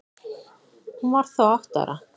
Hún var þá átta ára.